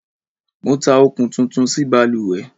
Mo tá okún tuntun sí balùwẹ́